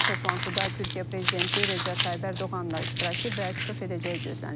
toplantıda Türkiyə prezidenti Rəcəb Tayyib Ərdoğanın da iştirakı və çıxış edəcəyi gözlənilir.